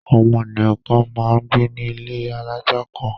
Àwọn ènìyàn kan máa ń gbé ní ilé alájà kan.